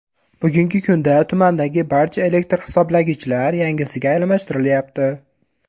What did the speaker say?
Bugungi kunda tumandagi barcha elektr hisoblagichlar yangisiga almashtirilyapti.